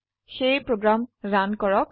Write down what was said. সেয়ে program run কৰক